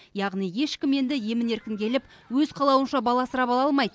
яғни ешкім енді емін еркін келіп өз қалауынша бала асырап ала алмайды